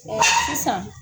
sisan